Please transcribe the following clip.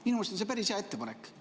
Minu arust on see päris hea ettepanek.